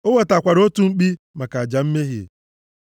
O wetakwara otu mkpi maka aja mmehie,